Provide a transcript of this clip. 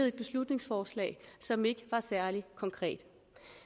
et beslutningsforslag som ikke var særlig konkret